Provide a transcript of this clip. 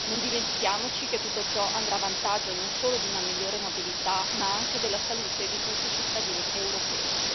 Non dimentichiamoci che tutto ciò andrà a vantaggio non solo di una migliore mobilità, ma anche della salute di tutti i cittadini europei.